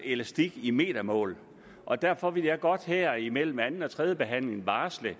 elastik i metermål og derfor vil jeg godt her imellem anden og tredje behandling varsle at